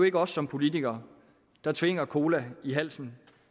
ikke os som politikere der tvinger cola i halsen